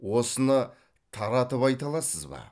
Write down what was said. осыны таратып айта аласыз ба